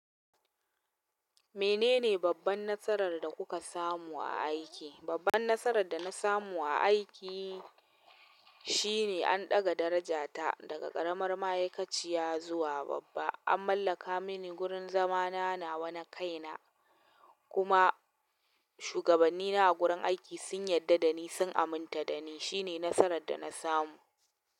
Menene babban nasarar da kuka samu a aiki? Babban nasarar da na samu a aiki shine an daga darajata daga ƙaramar ma'aikaciya zuwa babba. An mallaka mini gurin zama na nawa na kaina, kuma shugabannina a gurin aiki sun yadda dani sun aminta dani shine nasarar da na samu.